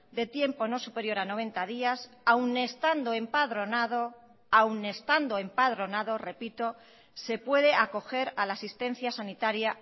de tiempo no superior a noventa días aún estando empadronado aun estando empadronado repito se puede acoger a la asistencia sanitaria